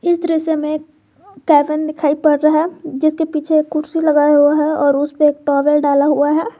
इस दृश्य में केबिन दिखाई पड़ रहा है जिसके पीछे एक कुर्सी लगाया हुआ है और उसेपे एक टॉवल डाला हुआ है।